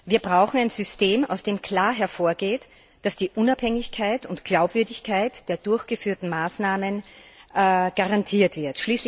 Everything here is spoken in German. Wir brauchen ein System, aus dem klar hervorgeht, dass die Unabhängigkeit und Glaubwürdigkeit der durchgeführten Maßnahmen garantiert wird.